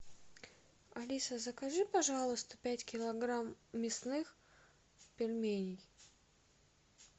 алиса закажи пожалуйста пять килограмм мясных пельменей